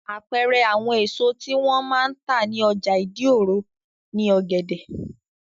Àpẹẹrẹ àwọn èso tí wọ́n máa ń tà ní ọjà ìdí-òro ni ọ̀gẹ̀dẹ̀.